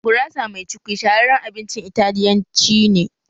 Gurasa mai cukwi shahararren abincin Italiyanci ne